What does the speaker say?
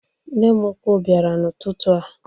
Nne m ụkwụ biara n' ụtụtụ a